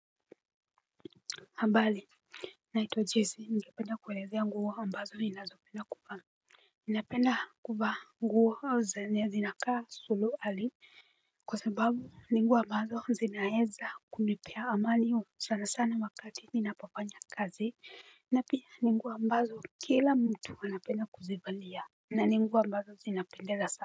Habari, naitwa Jesi ningependa kuelezea nguo ambazo ninazopenda kuvaa. Ninapenda kuvaa nguo au zenye zinakaa suruali kwa sababu ni nguo ambazo zinaeza kunipea amani sana sana wakati ninapofanya kazi. Na pia ni nguo ambazo kila mtu anapenda kuzivalia na ni nguo ambazo zinapendeza sana.